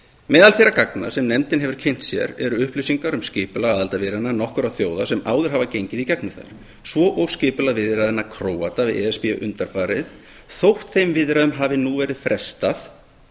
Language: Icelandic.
meðal þeirra gagna sem nefndin hefur kynnt sér eru upplýsingar um skipulag aðildarviðræðna nokkurra þjóða sem áður hafa gengið í gegnum þær svo og skipulag viðræðna króata við e s b undanfarið þótt þeim viðræðum hafi nú verið frestað